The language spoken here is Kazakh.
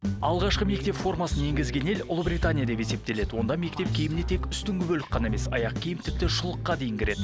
алғашқы мектеп формасын енгізген ел ұлыбритания деп есептеледі онда мектеп киіміне тек үстінгі бөлік қана емес аяқ киім тіпті шұлыққа дейін кіреді